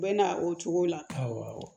U bɛ na o cogo la awɔ